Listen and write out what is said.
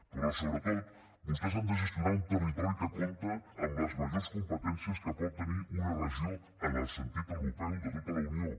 però sobretot vostès han de gestionar un territori que compta amb les majors competències que pot tenir una regió en el sentit europeu de tota la unió